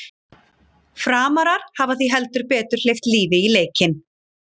Framarar hafa því heldur betur hleypt lífi í leikinn!